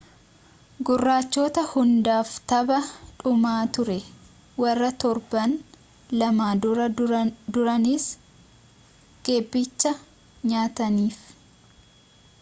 gurraachota hundaaf tapha dhumaa turee warra torban lama dura dursanii geephicha nyaataniif